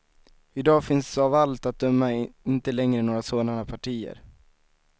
I dag finns av allt att döma inte längre några sådana partier.